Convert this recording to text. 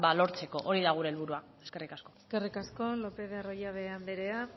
lortzeko hori da gure helburua eskerrik asko eskerrik asko lopez de arroyabe anderea